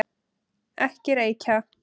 Ekki reykja!